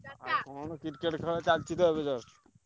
ଆଉ କଣ Cricket ଖେଳ ଚଳିଛି ତ just ।